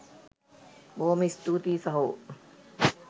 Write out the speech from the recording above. බොහොම ස්තුතියි සහෝ